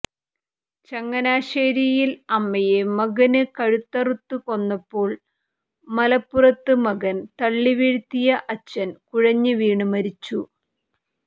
ചങ്ങനാശേരിയിൽ അമ്മയെ മകന് കഴുത്തറുത്തുകൊന്നപ്പോൾ മലപ്പുറത്ത് മകൻ തള്ളിവീഴ്ത്തിയ അച്ഛൻ കുഴഞ്ഞുവീണ് മരിച്ചു